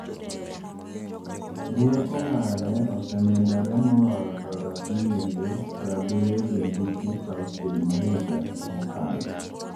Rieko mare osemedore moloyo dola bilionde prabirio gi abich nukta auchiel ma higa mokalo.